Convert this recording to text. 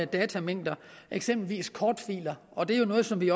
datamængder eksempelvis kortfiler og det er jo noget som vi